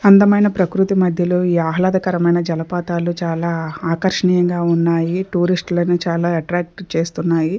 అందమైన ప్రకృతి మధ్యలో ఈ ఆహ్లాదకరమైన జలపాతాలు చాలా ఆకర్షణీయంగా ఉన్నాయి టూరిస్టులను చాలా అట్రాక్ట్ చేస్తున్నాయి.